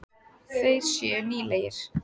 Þeir séu nýlegir.